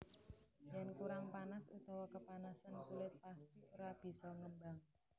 Yen kurang panas utawa kepanasen kulit pastry ora bisa ngembang